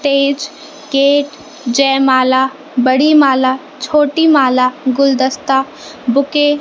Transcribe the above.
stage gate जयमाला बड़ी माला छोटी माला गुलदस्ता बुके --